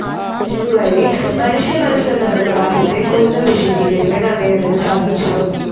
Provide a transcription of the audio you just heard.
ഇതു വഴി മനുഷ്യ മനസ്സെന്ന പ്രതിഭാസത്തെ കൂടുതൽ വിശദീകരിക്കാൻ അദ്ദേഹത്തിന്നു സാധിച്ചു.